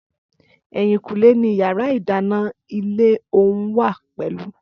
Ẹ̀yìnkùlé ni yàrá ìdáná ilé ọ̀hún wà pẹ̀lú